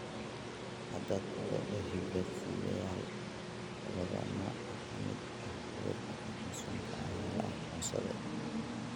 Hadda, todoba hiddo-sideyaal sababa nooc ka mid ah cudurka Parkinsonka ayaa la aqoonsaday.